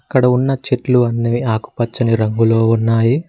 ఇక్కడ ఉన్న చెట్లు అన్ని ఆకుపచ్చని రంగులో ఉన్నాయి.